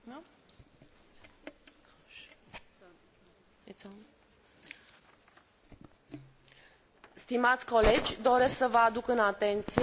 Doresc să vă aduc în atenție situația politică din România și impactul acesteia asupra relațiilor României cu instituțiile comunitare.